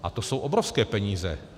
A to jsou obrovské peníze.